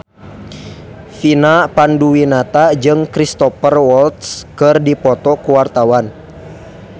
Vina Panduwinata jeung Cristhoper Waltz keur dipoto ku wartawan